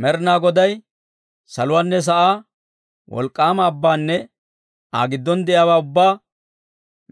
Med'inaa Goday saluwaanne sa'aa, wolk'k'aama abbaanne Aa giddon de'iyaawaa ubbaa,